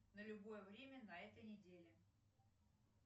на любое время на этой неделе